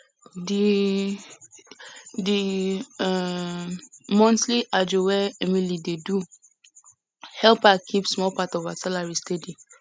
di di um monthly ajo wey emily dey do help her keep small part of her salary steady